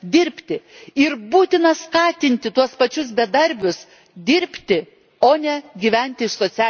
Ir būtina skatinti tuos pačius bedarbius dirbti, o ne gyventi iš socialinių pašalpų.